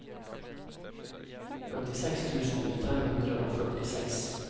femtiseks tusen fem hundre og førtiseks